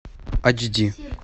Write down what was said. ач ди